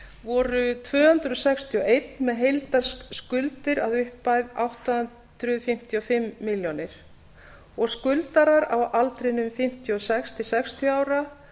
voru tvö hundruð sextíu og eitt með heildarskuldir upp á átta hundruð fimmtíu og fimm milljónir króna og skuldarar á aldrinum fimmtíu og sex til sextíu ára